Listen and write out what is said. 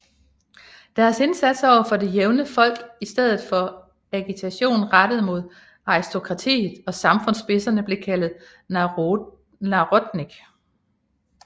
Deres indsats overfor det jævne folk i stedet for agitation rettet mod aristokratiet og samfundsspidser blev kaldet Narodnik